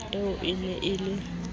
eo e ne e le